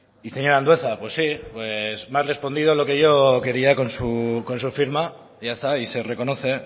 y señor andueza pues sí me ha respondido lo que yo quería con su firma ya está y se reconoce